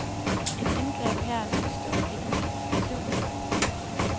Et indgreb her og nu står ikke til diskussion.